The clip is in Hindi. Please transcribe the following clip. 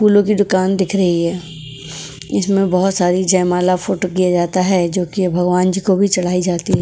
फूलों की दुकान दिख रही है इसमें बहुत सारी जयमाला फोटो किया जाता है जो कि भगवान जी को भी चढ़ाई जाती है।